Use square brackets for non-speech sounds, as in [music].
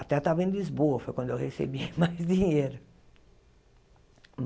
Até estava em Lisboa, foi quando eu recebi [laughs] mais dinheiro.